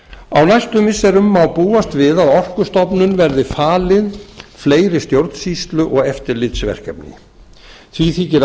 á næstu missirum má búast við að orkustofnun verði falin fleiri stjórnsýslu og eftirlitsverkefni því þykir